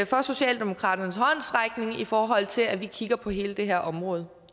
for socialdemokratiets håndsrækning i forhold til at vi kigger på hele det her område